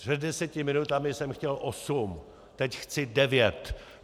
Před deseti minutami jsem chtěl osm, teď chci devět!